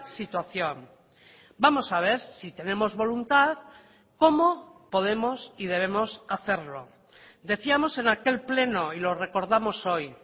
situación vamos a ver si tenemos voluntad cómo podemos y debemos hacerlo decíamos en aquel pleno y lo recordamos hoy